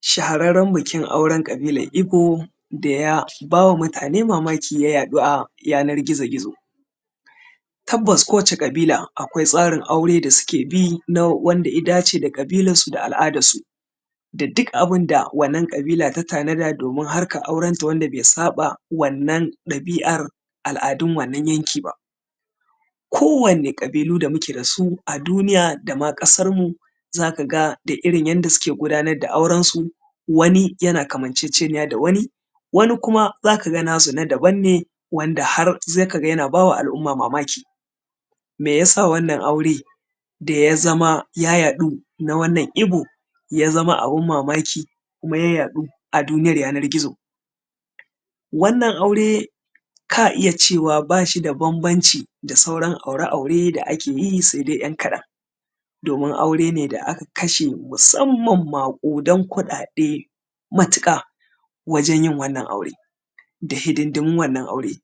Shahararren bikin auren ƙabilar Igbo da ya ba wa mutane mamaki ya yaɗu a yanar gizagizo. Tabbas kowace ƙabila akwai tsarin aure da suke bi na wanda ya dace da ƙabilarsu da al’adarsu, da duk abin da wannan ƙabila ta tanada domin harkar aurenta wanda bai saɓa wannan ɗabi’ar al’adun wannan yanki ba. Kowane ƙabilu da muke da su a duniya da ma ƙasar mu za ka ga da irin yanda suke gudanar da aurensu, wani yana kamanceceniya da wani, wani kuma za ka ga na su na daban ne wanda har za ka ga yana ba wa al’umma mamaki. Meyasa wannan aure da ya zama ya yaɗu na wannan Igbo, ya zama abin mamaki kuma ya yaɗu a duniyar yanar gizo? Wannan aure ka iya cewa ba shi da bambanci da sauran aure-aure da ake yi sai dai ‘yan kaɗan, domin aure ne da aka kashe musamman maƙudan kuɗaɗe matuƙa wajen yin wannan aure da hidindimun wannan aure.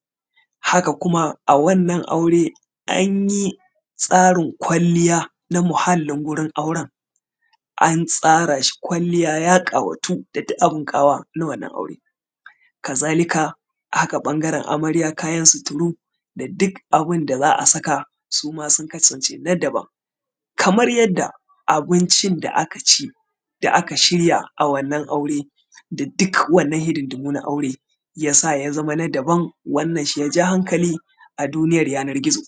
Haka kuma a wurin wannan aure anyi tsarin kwalliya na muhalin wurin auren, an tsara shi kwalliya ya ƙawatu da duk wani abun ƙawa na wannan aure. Ka zalika haka ɓangaren amarya kayan suturu da duk abin da za a saka su ma sun kasance na daban, kamar yadda abincin da aka ci aka shirya a wannan aure, da duk wannan hidindimun na aure ya sa ya zama na daban, wannan shi ya ja hankali a duniyar yanar gizo.